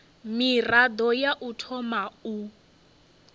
mirado ya u thoma u